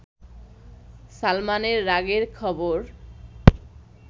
সালমানের রাগের খবর